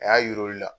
A y'a yir'u la